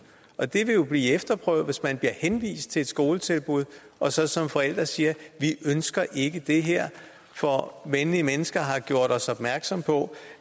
og det vil jo blive efterprøvet hvis man bliver henvist til et skoletilbud og så som forældre siger vi ønsker ikke det her for venlige mennesker har gjort os opmærksomme på